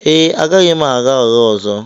Ee, agaghị m agha ụgha ọzọ